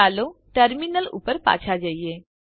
ચાલો terminal terminal ઉપર પાછા જઈએ